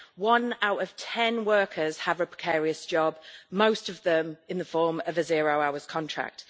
One out of ten workers has a precarious job, most of them in the form of a zero hours contract.